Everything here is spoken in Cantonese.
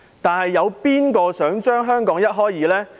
但有誰想把香港一開為二？